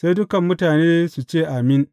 Sai dukan mutane su ce, Amin!